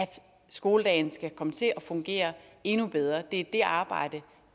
skoledagen skal komme til at fungere endnu bedre det er det arbejde